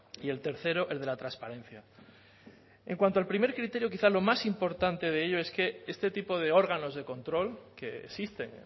y el tercero el de la transparencia en cuanto al primer criterio quizá lo más importante de ello es que este tipo de órganos de control que existen